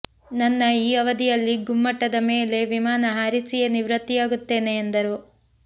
ನನ್ನ ಈ ಅವಧಿಯಲ್ಲಿ ಗುಮ್ಮಟದ ಮೇಲೆ ವಿಮಾನ ಹಾರಿಸಿಯೇ ನಿವೃತ್ತಿಯಾಗುತ್ತೇನೆ ಎಂದರು